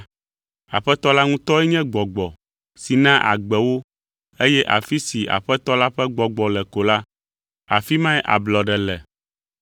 Aƒetɔ la ŋutɔe nye Gbɔgbɔ si naa agbe wo eye afi si Aƒetɔ la ƒe Gbɔgbɔ le ko la, afi mae ablɔɖe le.